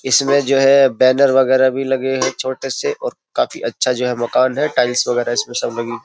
इसमें जो है बैनर वगैरह भी लगे हैं छोटे से और काफी अच्छा जो है मकान है टाइल्स वगैरह इसमें सब लगी --